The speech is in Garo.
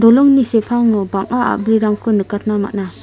dolongni sepango bang·a a·brirangko nikatna man·a.